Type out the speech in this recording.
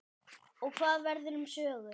Og hvað verður um Sögu?